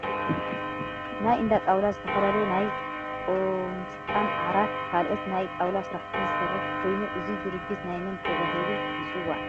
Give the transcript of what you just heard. ናይ እንዳጣውላ ዝተፈላለዩ ናይ ቁምሳጥን፣ ዓራት ፣ ካልኦት ናይ ጣውላ ስራሕትን ዝሰርሕ ኮይኑ እዚ ድርጅት ናይ መን ተባሂሉ ይፅዋዕ ?